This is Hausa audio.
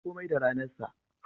Komai da ranar sa.